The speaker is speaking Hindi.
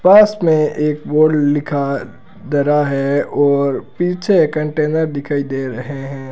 बस में एक बोर्ड लिखा धरा है और पीछे कंटेनर दिखाई दे रहे हैं।